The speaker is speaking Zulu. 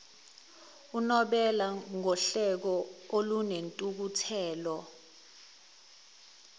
unobela ngohleko olunentukuthelo